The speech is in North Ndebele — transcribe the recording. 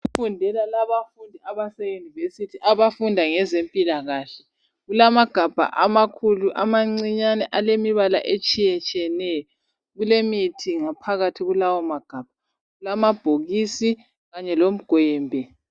Bayafundela abafundi abase Yunivesithi abafunda ngezempilakahle kulamagabha amakhulu, amancinyane alemibala etshiyetshiyeneyo kulemithi ngaphakathi kwalawo magabha kulamabhokisi kanye lomgwembe.